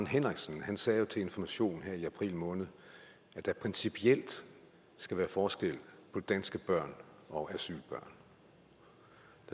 henriksen jo sagde til information her i april måned at der principielt skal være forskel på danske børn og asylbørn